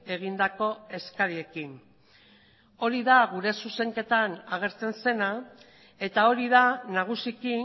egindako eskariekin hori da gure zuzenketan agertzen zena eta hori da nagusiki